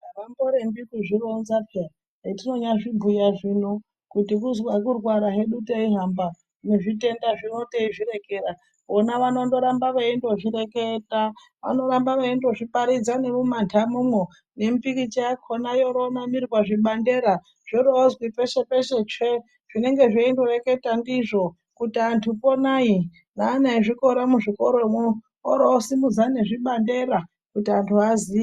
Avamborembi kuzvironza peya , etinyazvozvibhuya zvino kuti kuzwa kurwara hedu teihamba nezvitenda zvino teizvirekera vona vanoramba veindozvireketa . Vanorambe veindozviparidza nemumanhamomwo nemipikicha yakonayoronamirwa pazvibandera zvoroozwi peshe peshe tsve zvinenge zveindoreketa ndizvo kuti antu ponai neana ezvikora muzvikora mwo oro osimudza nezvibandera kuti antu aziye.